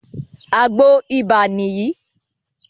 Àgbo ibà nìyí